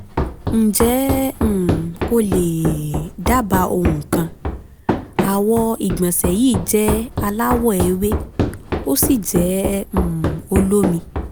ǹjẹ́ um o lè um dábàá ohun kan? àwọ̀ ìgbọ̀nsẹ̀j yìí jẹ́ alawọ̀ ewé ósì jẹ́ um olómi